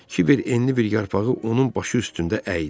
Kibər enli bir yarpağı onun başı üstündə əydi.